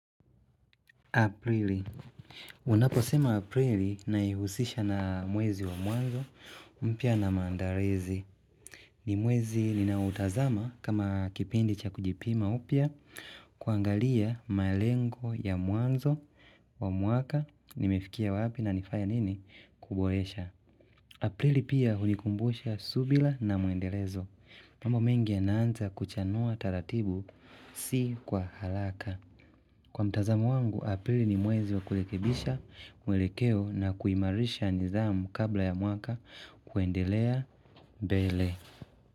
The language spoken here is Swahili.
Aprili. Unapo sema Aprili na naihusisha na mwezi wa mwanzo mpya na maandalizi. Ni mwezi ninautazama kama kipindi cha kujipima upya kuangalia malengo ya mwanzo wa mwaka. Nimefikia wapi na nilifanya nini kuboresha Aprili pia hunikumbusha subira na muendelezo, mambo mengi yanaanza kuchanua taratibu si kwa haraka. Kwa mtazamo wangu, Aprili ni mwezi wa kurekebisha, mwelekeo na kuimarisha nidhamu kabla ya mwaka kuendelea mbele.